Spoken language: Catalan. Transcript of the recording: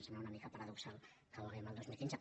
sembla una mica paradoxal que ho hàgim de dir el dos mil quinze